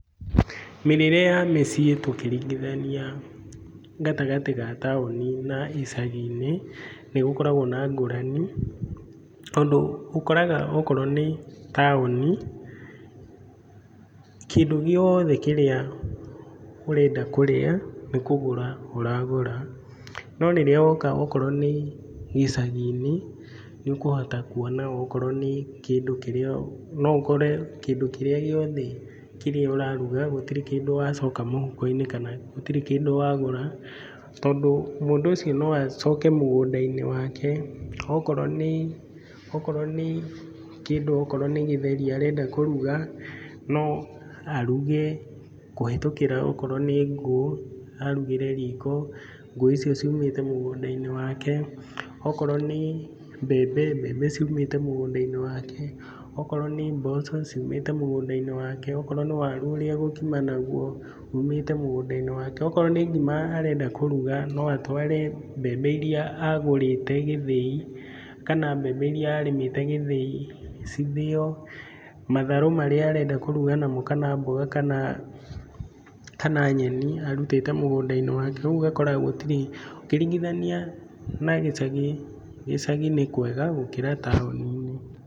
Mĩrĩre ya mĩciĩ tũkĩingithania gatagatĩ ga taũni-inĩ na icagi-inĩ, nĩ gũkoragwo na ngũrani tondũ ũkoraga okorwo nĩ taũni, kĩndũ gĩothe kĩrĩa ũrenda kũrĩa nĩ kũgũra ũragũra no rĩrĩa woka okorwo nĩ gĩcagi-inĩ nĩ ũkũhota kuona, okorwo nĩ kĩndũ kĩria, no ũkore kĩndũ kĩrĩa gĩothe kĩrĩa ũraruga gũtirĩ kĩndũ wacoka mũhuko-inĩ na gũtirĩ kĩndũ wagũra tondũ mũndũ ũcio no acoke mũgũnda-inĩ wake, okorwo nĩ kĩndũ okorwo nĩ gĩtheri arenda kũruga, no aruge kũhĩtũkĩra okorwo nĩ ngũ arugĩre riko, ngũ icio ciumĩte mũgũnda-inĩ wake, okorwo nĩ mbembe, mbembe ciumĩte mũgũnda-inĩ wake, okorwo nĩ mboco, ciumĩte mũgũnda-inĩ wake, okorwo nĩ waru ũrĩa agũkima naguo, umĩte mũgũnda-inĩ wake, okorwo nĩ ngima arenda kũruga, no atware mbembe iria agũrĩte gĩthĩi, kana mbembe iria arĩmĩte gĩthiĩ cithĩo, matharũ marĩa arenda kũruga namo kana mboga kana nyeni, arutĩte mũgũnda-inĩ wake, ũgakora gũtirĩ, ũkĩringithania na gĩcagi, gĩcagi nĩ kwega gũkĩra taũni-inĩ.